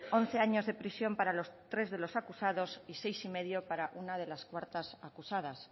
once años de prisión para tres de los acusados y seis años y medio para una de las cuartas acusadas